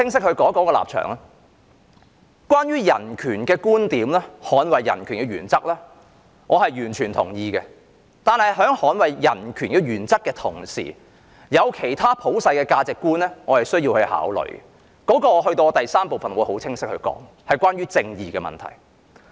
對於人權和捍衞人權的原則，我完全同意；但在捍衞人權原則的同時，我也要考慮其他普世價值觀——我在第三部分會更清晰地說明——即正義的問題。